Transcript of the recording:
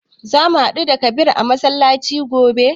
Za mu haɗu da Kabir a masallaci gobe.